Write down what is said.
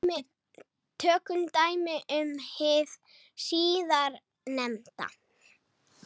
Tökum dæmi um hið síðarnefnda.